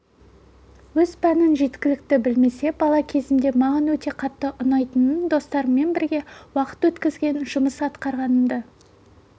өз пәнін жеткілікті білмесе бала кезімде маған өте қатты ұнайтын достарыммен бірге уақыт өткізген жұмыс атқарғанымды